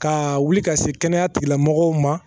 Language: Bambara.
Ka wuli ka se kɛnɛya tigilamɔgɔw ma